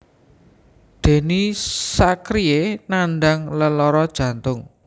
Denny Sakrie nandhang lelara jantung